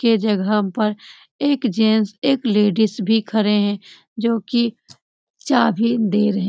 के जगह पर एक जेंट्स एक लेडीज भी खड़े है जो की चाबी दे रहे --